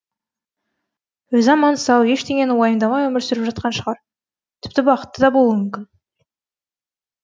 өзі аман сау ештеңені уайымдамай өмір сүріп жатқан шығар тіпті бақытты да болуы мүмкін